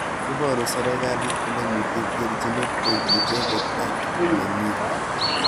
Iporu serikalit kole mite terchinet eng icheket ak mengik.